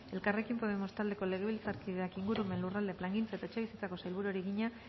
elkarrekin podemos taldeko legebiltzarkideak ingurumen lurralde plangintza eta etxebizitzako sailburuari egina